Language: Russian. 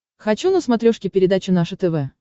хочу на смотрешке передачу наше тв